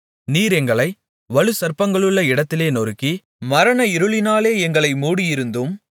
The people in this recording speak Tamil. நீர் எங்களை வலுசர்ப்பங்களுள்ள இடத்திலே நொறுக்கி மரண இருளினாலே எங்களை மூடியிருந்தும்